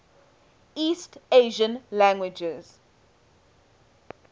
east asian languages